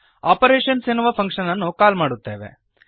operations ಎನ್ನುವ function ಅನ್ನು call ಮಾಡುತ್ತೇವೆ